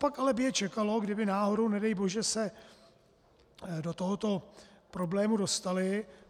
Copak ale by je čekalo, kdyby náhodou, nedej bože, se do tohoto problému dostaly?